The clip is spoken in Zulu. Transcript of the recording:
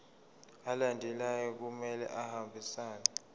alandelayo kumele ahambisane